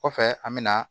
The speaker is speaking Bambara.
Kɔfɛ an me na